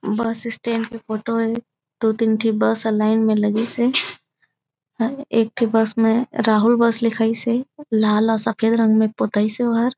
बस stand के photo हे दो-तीन ठी बस ह लाइन में लगीस हे ह-एक ठी बस में राहुल बस लिखाइस हे लाल और सफ़ेद रंग में पोतई से ओहर।